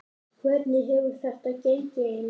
Hvernig hefur þetta gengið Einar?